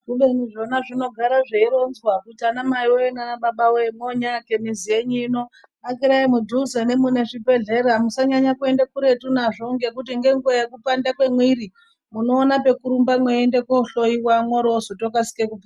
Kubeni zvona zvinogara zveironzwa kuti anamaiwoye nanababa woye monyaake mizi yenyu ino akirai mudhuze nemuzvibhedhlera musanyanye kuenda kuretu nazvo ngekuti ngenguwa yekupanda mwemwiri munoona pekurumba mweienda kohloiwa mworozotokasire kupona.